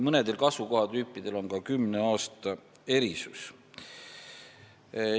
Mõnedel kasvukohatüüpidel on erandina ette nähtud selleks kümme aastat.